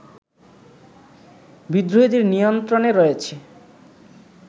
বিদ্রোহীদের নিয়ন্ত্রণে রয়েছে